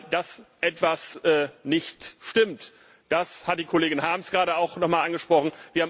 Dass etwas nicht stimmt, das hat die Kollegin Harms gerade auch noch einmal angesprochen.